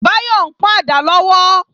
Báyọ̀ ń pọ́n àdá lọ́wọ́